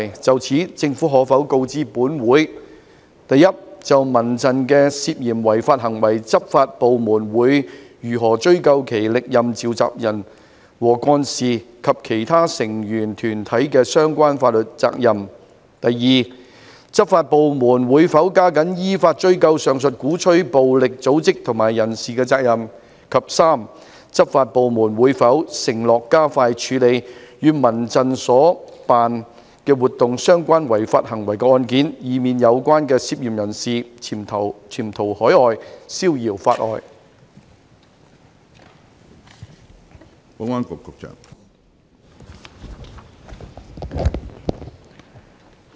就此，政府可否告知本會：一就民陣的涉嫌違法行為，執法部門會如何追究其歷任召集人和幹事及其成員團體的相關法律責任；二執法部門會否加緊依法追究上述鼓吹暴力的組織及人士的責任；及三執法部門會否承諾加快處理與民陣所辦活動相關違法行為的案件，以免有關的嫌疑人潛逃海外，消遙法外？